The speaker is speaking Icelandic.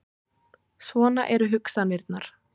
Svona eru hugsanirnar.